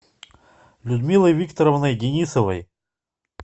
людмилой викторовной денисовой